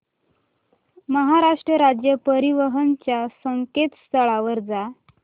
महाराष्ट्र राज्य परिवहन च्या संकेतस्थळावर जा